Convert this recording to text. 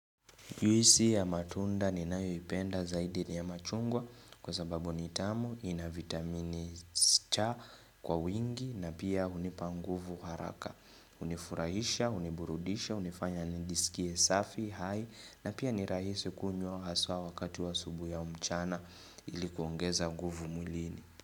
Juisi ya matunda ni nayoipenda zaidi ni ya machungwa kwa sababu nitamu ina vitamini si cha kwa wingi na pia unipa nguvu haraka. Unifurahisha, uniburudisha, unifanya nijisikie safi, hai na pia nirahisi kunywa haswa wakati wa asubui au mchana ilikuongeza nguvu mwilini.